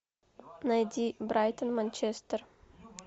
найди брайтон манчестер